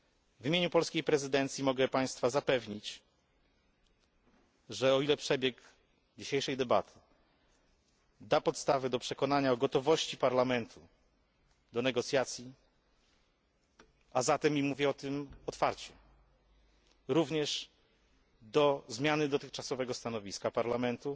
W imieniu polskiej prezydencji mogę Państwa zapewnić, że jeśli przebieg dzisiejszej debaty da podstawy do przekonania o gotowości Parlamentu do negocjacji, a zatem i mówię o tym otwarcie również do zmiany dotychczasowego stanowiska Parlamentu,